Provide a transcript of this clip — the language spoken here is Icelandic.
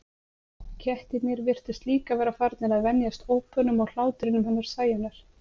Kettirnir virtust líka vera farnir að venjast ópunum og hlátrinum hennar Sæunnar.